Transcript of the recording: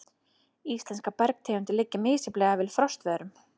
Íslenskar bergtegundir liggja misjafnlega vel við frostveðrun.